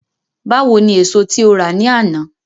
Báwo ni èso tí o rà ní àná?